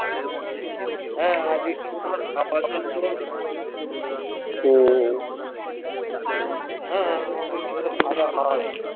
কিরম হম